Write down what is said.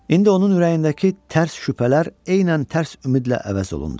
İndi onun ürəyindəki tərs şübhələr eynən tərs ümidlə əvəz olundu.